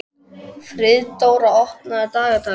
Friðdóra, opnaðu dagatalið mitt.